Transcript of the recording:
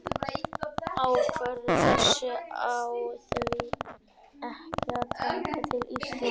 Ákvörðun þessi á því ekki að taka til Íslands.